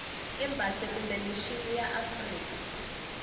embasi kumbe mixini ya afrika